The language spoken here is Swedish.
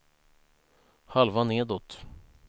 halva nedåt